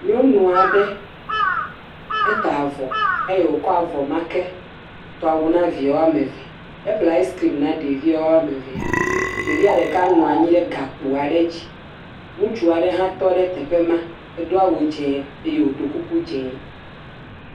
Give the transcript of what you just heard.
Nyɔnu aɖe, eta avɔ eye wòkɔ avɔ ma ke tɔawu na ɖevia woame eve, eƒle aiskrim na ɖevia woame evea, ɖevia ɖeka nɔ anyi ɖe gakpo aɖe dzi, ŋutsu aɖe hã tɔ ɖe teƒe ma, edo awu dzee eye wòɖo kuku dzee.